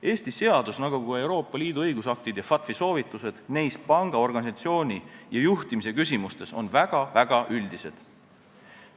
Eesti seadus nagu ka Euroopa Liidu õigusaktid ja FATF-i soovitused neis panga organisatsiooni ja juhtimise küsimustes on väga-väga üldised.